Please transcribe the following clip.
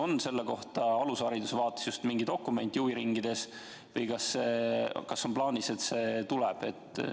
On selle kohta mingi dokument alushariduse huviringide jaoks olemas või on plaanis, et see tuleb?